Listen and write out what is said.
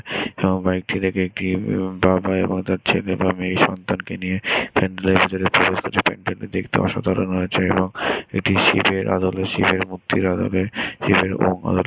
সবাইকে দেখে ছেলে বা মেয়ে সন্তানকে নিয়ে প্যান্ডেলের ভেতরে প্রবেশ করছে দূর্গাপূজার প্যান্ডেলটা দেখতে অসাধারণ হয়েছে এবং এটি শিবের আলোতে শিবের মুক্তির আলোতে শিবের --